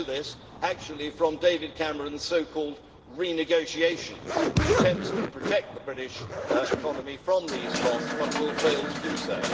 We know this actually from David Cameron's so-called renegotiation, which attempts to protect the British economy from these costs but will fail to do so.